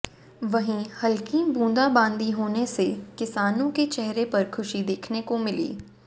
वहीं हल्की बूंदाबांदी होने से किसानों के चेहरे पर खुशी देखने को मिली